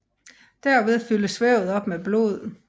Derved fyldes vævet op med blod